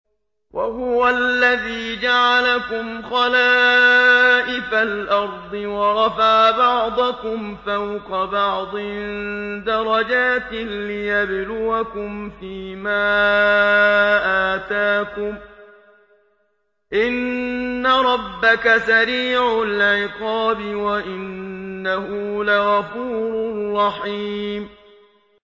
وَهُوَ الَّذِي جَعَلَكُمْ خَلَائِفَ الْأَرْضِ وَرَفَعَ بَعْضَكُمْ فَوْقَ بَعْضٍ دَرَجَاتٍ لِّيَبْلُوَكُمْ فِي مَا آتَاكُمْ ۗ إِنَّ رَبَّكَ سَرِيعُ الْعِقَابِ وَإِنَّهُ لَغَفُورٌ رَّحِيمٌ